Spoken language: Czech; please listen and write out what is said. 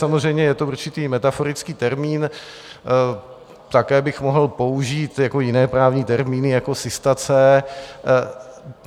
Samozřejmě je to určitý metaforický termín, také bych mohl použít jiné právní termíny jako sistace.